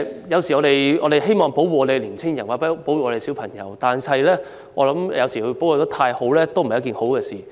有時候，我們希望保護青年人或小朋友，但我認為過分保護未必是好事。